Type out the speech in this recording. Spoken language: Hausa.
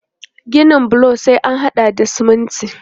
Ginin bulo sai an haɗa da siminti.